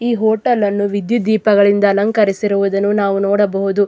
ಈ ಹೋಟೆಲ್ ನ್ನು ವಿದ್ಯುದ್ದೀಪಗಳಿಂದ ಅಲಂಕರಿಸಿರುವುದನ್ನು ನಾವು ನೋಡಬಹುದು.